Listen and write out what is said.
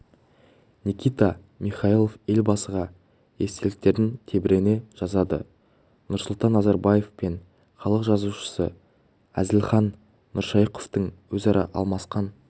никита михалков елбасыға естеліктерін тебірене жазады нұрсұлтан назарбаев пен халық жазушысы әзілхан нұршайықовтың өзара алмасқан